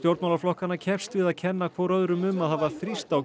stjórnmálaflokkanna keppst við að kenna hvor öðrum um að hafa þrýst á